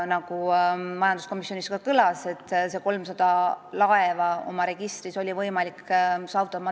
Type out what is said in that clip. Nagu majanduskomisjonis ka kõlas, Madeiral õnnestus need 300 laeva oma registrisse saada.